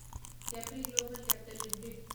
Capri global capital limited